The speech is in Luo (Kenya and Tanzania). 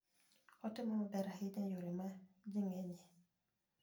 Otimo maber ahinya e yore ma ji ng'enyie.